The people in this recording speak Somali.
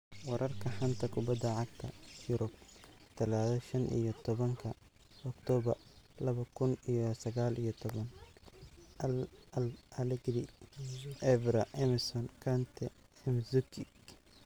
Wararka xanta kubada cagta Yurub Talaado shan iyo tobanka octobaar laba kuun iyo sagal iyo toban: Allegri, Evra, Emerson, Kante, Mandzukic